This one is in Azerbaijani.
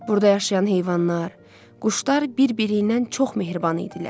Burda yaşayan heyvanlar, quşlar bir-biriynən çox mehriban idilər.